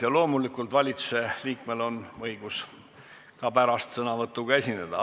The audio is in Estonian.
Ja loomulikult on valitsuse liikmel õigus lõpuks ka sõnavõtuga esineda.